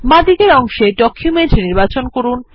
বাঁদিকের অংশে ডকুমেন্ট নির্বাচন করুন